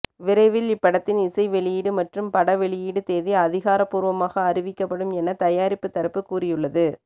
விரைவில் இப்படத்தின் இசை வெளியிடு மற்றும் பட வெளியிடு தேதி அதிகாரப்பூர்வமாக அறிவிக்கப்படும் எனத் தயாரிப்பு தரப்பு கூறியுள்ளது